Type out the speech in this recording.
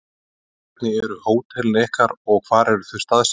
Hvernig eru hótelin ykkar og hvar eru þau staðsett?